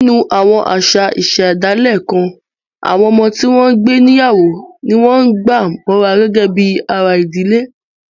Nínú àwọn àṣà ìṣẹ̀dálẹ̀ kan, àwọn ọmọ tí wọ́n ń gbé níyàwó ni wọ́n gbà mọ́ra gẹ́gẹ́ bí ara ìdílé